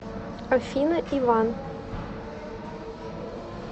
афина иван